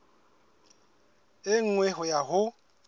e nngwe ho ya ho